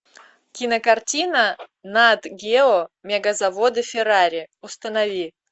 кинокартина нат гео мегазаводы феррари установи